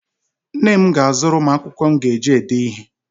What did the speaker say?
Nne m ga-azụrụ m akwụkwọ m ga-eji ede ihe.